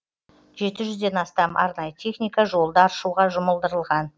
жеті жүзден астам арнайы техника жолды аршуға жұмылдырылған